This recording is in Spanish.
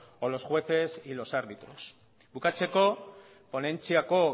o los jueces y los árbitros bukatzeko ponentziako